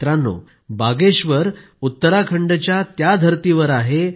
मित्रांनो बागेश्वर उत्तराखंडच्या त्या धरतीवर आहे